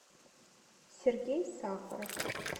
сергей сахаров